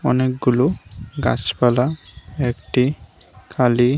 অনেকগুলো গাছপালা একটি কালী--